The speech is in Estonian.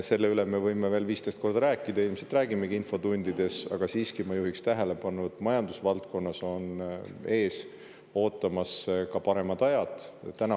Selle üle me võime veel 15 korda rääkida ja ilmselt räägimegi infotundides, aga ma siiski juhin tähelepanu, et majandusvaldkonnas on ees ootamas ka paremad ajad.